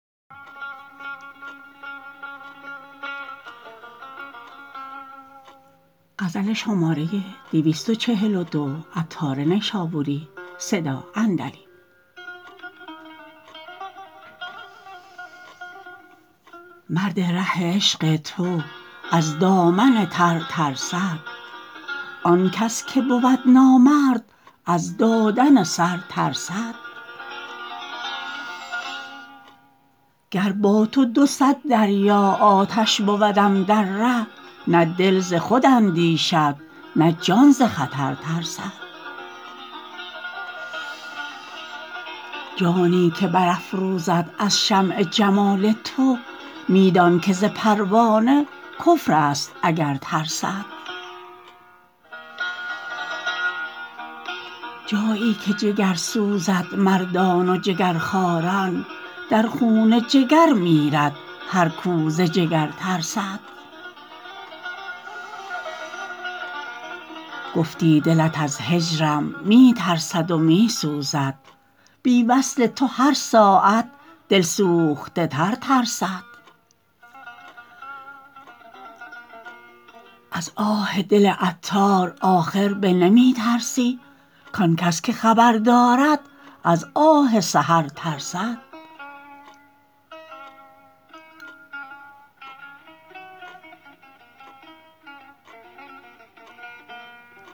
مرد ره عشق تو از دامن تر ترسد آن کس که بود نامرد از دادن سر ترسد گر با تو دوصد دریا آتش بودم در ره نه دل ز خود اندیشد نه جان ز خطر ترسد جانی که بر افروزد از شمع جمال تو می دان که ز پروانه کفر است اگر ترسد جایی که جگر سوزد مردان و جگرخواران در خون جگر میرد هر کو ز جگر ترسد گفتی دلت از هجرم می ترسد و می سوزد بی وصل تو هر ساعت دل سوخته تر ترسد از آه دل عطار آخر به نمی ترسی کانکس که خبر دارد از آه سحر ترسد